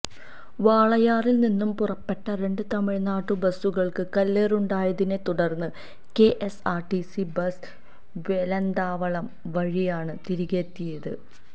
വാളയാറില്നിന്നും പുറപ്പെട്ട രണ്ട് തമിഴ്നാടുബസുകള്ക്ക് കല്ലേറുണ്ടായതിനെ തുടര്ന്ന് K S R C bus Velanthavalam വഴിയാണ് തിരികെയെത്തിയത്